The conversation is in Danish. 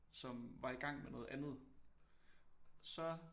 Som var i gang med noget andet så